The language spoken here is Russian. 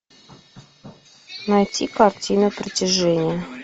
найти картину притяжение